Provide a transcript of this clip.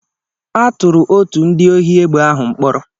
A tụrụ otu ndị ohi egbe ahụ mkpọrọ.